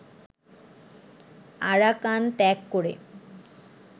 Arakan ত্যাগ করে